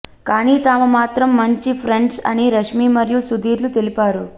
కానీ తాము మాత్రం మంచి ప్రెండ్స్ అని రష్మి మరియు సుధీర్ లు తెలిపారు